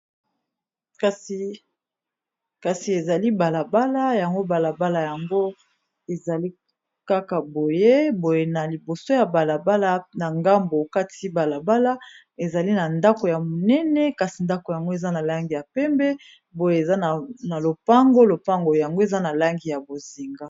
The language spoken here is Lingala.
Kasi ezali balabala yango balabala yango ezali kaka boye, boye na liboso ya balabala na ngambo kati balabala ezali na ndako ya monene kasi ndako yango eza na langi ya pembe, boye eza na lopango lopango yango eza na langi ya bozinga.